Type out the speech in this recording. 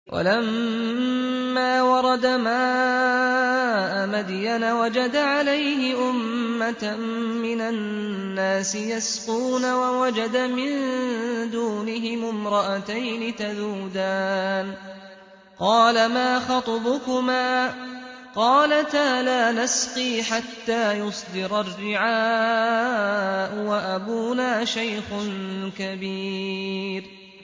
وَلَمَّا وَرَدَ مَاءَ مَدْيَنَ وَجَدَ عَلَيْهِ أُمَّةً مِّنَ النَّاسِ يَسْقُونَ وَوَجَدَ مِن دُونِهِمُ امْرَأَتَيْنِ تَذُودَانِ ۖ قَالَ مَا خَطْبُكُمَا ۖ قَالَتَا لَا نَسْقِي حَتَّىٰ يُصْدِرَ الرِّعَاءُ ۖ وَأَبُونَا شَيْخٌ كَبِيرٌ